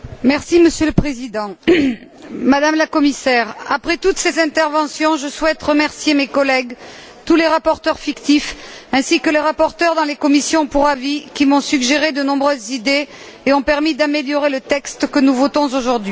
Monsieur le Président, Madame la Commissaire, après toutes ces interventions, je souhaite remercier mes collègues, tous les rapporteurs fictifs ainsi que les rapporteurs des commissions saisies pour avis, qui m'ont suggéré de nombreuses idées et ont permis d'améliorer le texte que nous votons aujourd'hui.